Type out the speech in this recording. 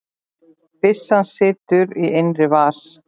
Byssan situr í innri vas